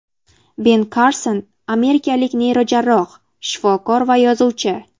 Ben Karson amerikalik neyrojarroh-shifokor va yozuvchi.